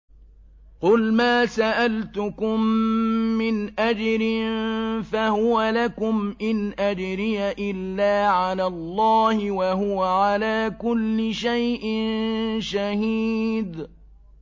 قُلْ مَا سَأَلْتُكُم مِّنْ أَجْرٍ فَهُوَ لَكُمْ ۖ إِنْ أَجْرِيَ إِلَّا عَلَى اللَّهِ ۖ وَهُوَ عَلَىٰ كُلِّ شَيْءٍ شَهِيدٌ